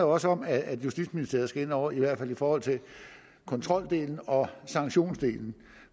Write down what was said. også om at justitsministeriet skal ind over i hvert fald i forhold til kontroldelen og sanktionsdelen